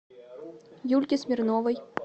юльке смирновой